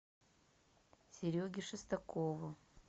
сереге шестакову